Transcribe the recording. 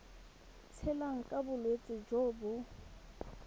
tshelang ka bolwetsi jo bo